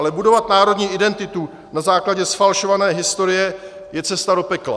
Ale budovat národní identitu na základě zfalšované historie je cesta do pekla.